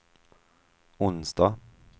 onsdag